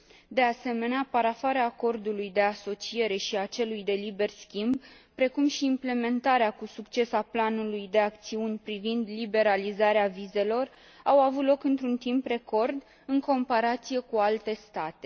De asemenea, parafarea acordului de asociere și a celui de liber schimb, precum și implementarea cu succes a planului de acțiuni privind liberalizarea vizelor au avut loc într un timp record în comparație cu alte state.